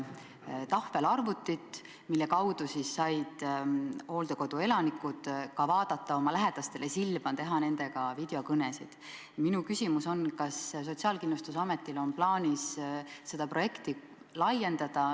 Tänan küsimuse eest!